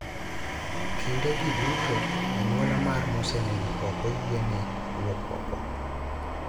Kindegi duto, anyuola mar mosenindo ok oyiene wuok oko.